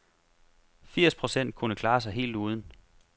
Firs procent kunne klare sig helt uden.